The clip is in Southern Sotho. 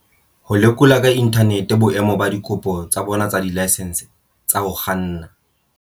Ho lekola ka inthanete boemo ba dikopo tsa bona tsa dilaesense tsa ho kganna.